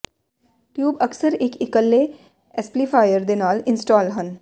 tube ਅਕਸਰ ਇੱਕ ਇੱਕਲੇ ਐਮਪਲੀਫਾਇਰ ਦੇ ਨਾਲ ਇੰਸਟਾਲ ਹਨ